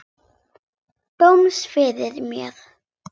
Dóms yfir mér.